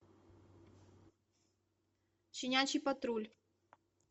щенячий патруль